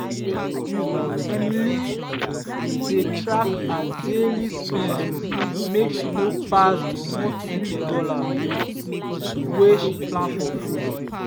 emily dey track her daily spend make she no pass the $120 wey she plan for food.